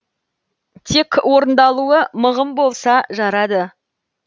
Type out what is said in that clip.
тек орындалуы мығым болса жарады